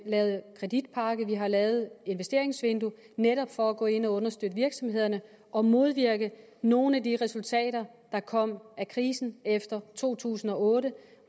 lavet kreditpakke og vi har lavet investeringsvindue netop for at gå ind og understøtte virksomhederne og modvirke nogle af de resultater der kom af krisen efter to tusind og otte